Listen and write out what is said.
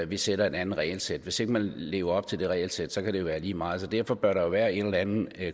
vi sætter et andet regelsæt hvis ikke man lever op til det regelsæt kan det være lige meget så derfor bør der jo være en eller anden